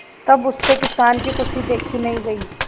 तब उससे किसान की खुशी देखी नहीं गई